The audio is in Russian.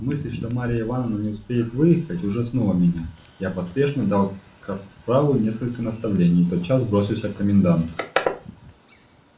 мысль что марья ивановна не успеет выехать ужаснула меня я поспешно дал капралу несколько наставлений и тотчас бросился к коменданту